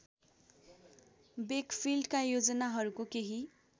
वेकफिल्डका योजनाहरूको केही